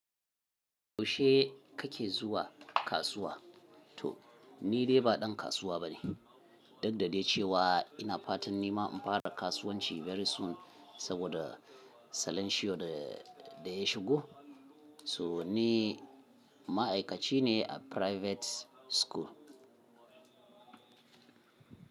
Yaushe kake zuwa kasuwa? To, ni dai ba ɗan kasuwa bane, duk da dai cewa ina fatan ni ma in fara kasuwanci very soon saboda salanshiyo da ya shigo. To ni ma'aikaci ne a private school.